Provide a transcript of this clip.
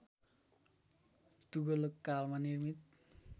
तुगलक कालमा निर्मित